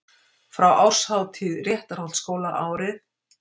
Frá árshátíð Réttarholtsskóla árið